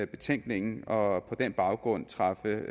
betænkningen og på den baggrund træffe